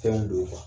Fɛnw don